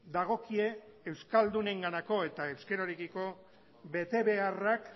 dagokie euskaldunenganako eta euskararekiko betebeharrak